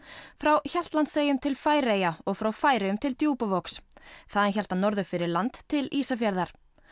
frá Hjaltlandseyjum til Færeyja og frá Færeyjum til Djúpavogs þaðan hélt hann norður fyrir land til Ísafjarðar